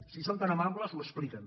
si són tan amables ho expliquen